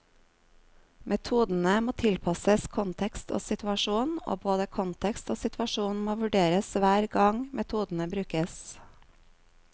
Metodene må tilpasses kontekst og situasjon, og både kontekst og situasjon må vurderes hver gang metodene brukes.